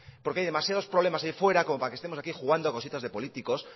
porque hay demasiados problemas ahí fuera como para que estemos aquí jugando a cositas de políticos